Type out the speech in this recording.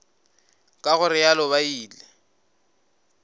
ka go realo ba ile